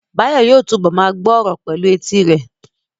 Báyọ̀ yóò túbọ̀ ma gbọ́ ọ̀rọ̀ pẹ̀lú etí rẹ̀